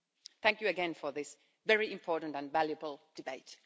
Thank you again for this very important and valuable debate.